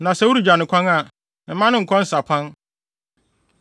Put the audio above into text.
Na sɛ woregya no kwan a, mma no nkɔ nsapan.